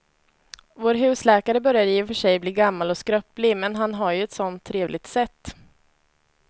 Vår husläkare börjar i och för sig bli gammal och skröplig, men han har ju ett sådant trevligt sätt!